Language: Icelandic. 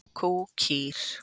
Kýr, kú, kú, kýr.